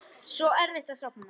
Svo erfitt að sofna.